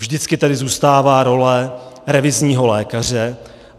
Vždycky tady zůstává role revizního lékaře.